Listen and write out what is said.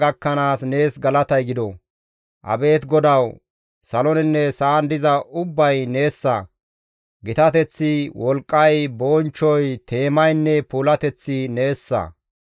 Abeet GODAWU! Saloninne sa7an diza ubbay neessa; gitateththi, wolqqay, bonchchoy, teemaynne puulateththi neessa.